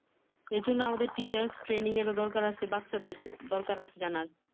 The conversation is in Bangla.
এ জন্যে আমাদের teachers training এর দরকার আছে। বাচ্চাদের দরকার আছে জানার।